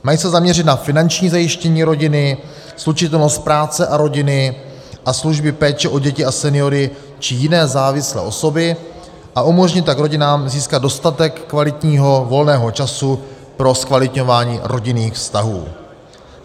Mají se zaměřit na finanční zajištění rodiny, slučitelnost práce a rodiny a služby péče o děti a seniory či jiné závislé osoby, a umožnit tak rodinám získat dostatek kvalitního volného času pro zkvalitňování rodinných vztahů.